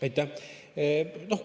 Aitäh!